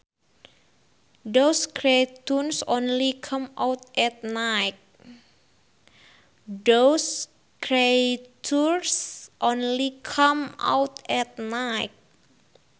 Those creatures only come out at night